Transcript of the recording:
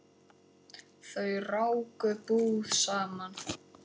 Þau ráku búð saman.